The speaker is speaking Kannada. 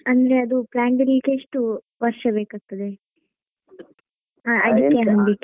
ಅಂದ್ರೆ ಅದು plant ಬರ್ಲಿಕ್ಕೆ ಎಷ್ಟು ವರ್ಷ ಬೇಕಾಗ್ತದೆ ?